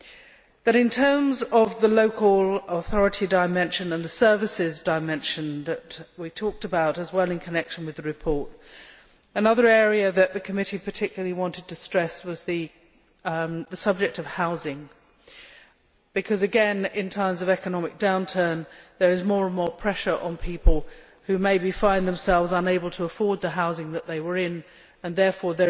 However, in terms of the local authority dimension and the services dimension we talked about as well in connection with the report, another area that the committee particularly wanted to stress was the subject of housing, because, again, in times of economic downturn, there is more and more pressure on people who maybe find themselves unable to afford the housing they are in. There is therefore